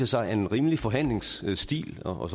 sig er en rimelig forhandlingsstil og